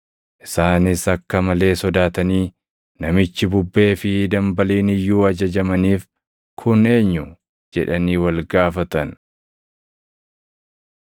Isaanis akka malee sodaatanii, “Namichi bubbee fi dambaliin iyyuu ajajamaniif kun eenyu?” jedhanii wal gaafatan.